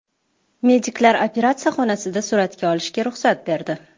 Mediklar operatsiya xonasida suratga olishga ruxsat berdi.